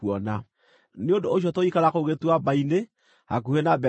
Nĩ ũndũ ũcio tũgĩikara kũu gĩtuamba-inĩ hakuhĩ na Bethi-Peori.